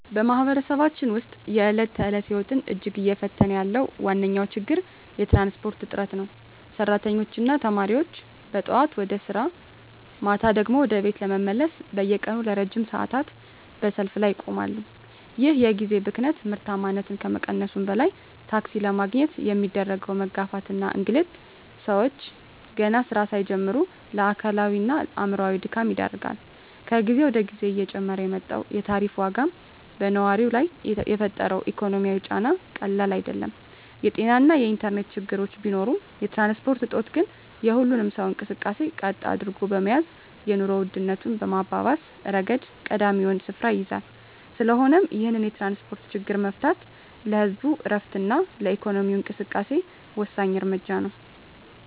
በማኅበረሰባችን ውስጥ የዕለት ተዕለት ሕይወትን እጅግ እየፈተነ ያለው ዋነኛው ችግር የትራንስፖርት እጥረት ነው። ሠራተኞችና ተማሪዎች ጠዋት ወደ ሥራ፣ ማታ ደግሞ ወደ ቤት ለመመለስ በየቀኑ ለረጅም ሰዓታት በሰልፍ ላይ ይቆማሉ። ይህ የጊዜ ብክነት ምርታማነትን ከመቀነሱም በላይ፣ ታክሲ ለማግኘት የሚደረገው መጋፋትና እንግልት ሰዎችን ገና ሥራ ሳይጀምሩ ለአካላዊና አእምሮአዊ ድካም ይዳርጋል። ከጊዜ ወደ ጊዜ እየጨመረ የመጣው የታሪፍ ዋጋም በነዋሪው ላይ የፈጠረው ኢኮኖሚያዊ ጫና ቀላል አይደለም። የጤናና የኢንተርኔት ችግሮች ቢኖሩም፣ የትራንስፖርት እጦት ግን የሁሉንም ሰው እንቅስቃሴ ቀጥ አድርጎ በመያዝ የኑሮ ውድነቱን በማባባስ ረገድ ቀዳሚውን ስፍራ ይይዛል። ስለሆነም ይህንን የትራንስፖርት ችግር መፍታት ለህዝቡ ዕረፍትና ለኢኮኖሚው እንቅስቃሴ ወሳኝ እርምጃ ነው።